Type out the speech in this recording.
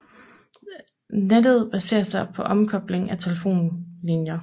Nettet baserer sig på omkobling af telefonlinjer